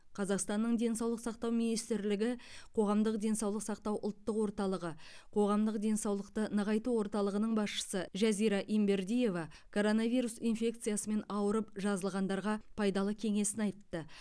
қазақстанның денсаулық сақтау министрлігі қоғамдық денсаулық сақтау ұлттық орталығы қоғамдық денсаулықты нығайту орталығының басшысы жазира ембердиева коронавирус инфекциясымен ауырып жазылғандарға пайдалы кеңесін айтты